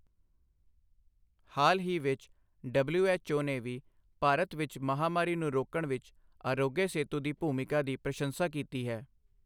ਹਾਲ ਹੀ ਵਿੱਚ, ਡਬਲਿਊਐੱਚਓ ਨੇ ਵੀ ਭਾਰਤ ਵਿੱਚ ਮਹਾਮਾਰੀ ਨੂੰ ਰੋਕਣ ਵਿੱਚ ਆਰੋਗਯ ਸੇਤੂ ਦੀ ਭੂਮਿਕਾ ਦੀ ਪ੍ਰਸ਼ੰਸਾ ਕੀਤੀ ਹੈ।